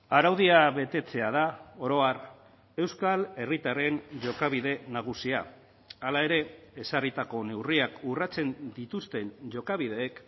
araudia betetzea da orohar euskal herritarren jokabide nagusia hala ere ezarritako neurriak urratzen dituzten jokabideek